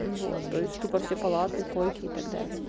вот то есть тупо все палаты койки и так далее